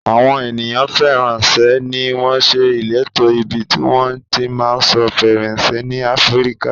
Àwọn ènìyàn faransé ni wọn ṣe ìletò ibi tí wọn ti ma sọ faransé ní Áfíríkà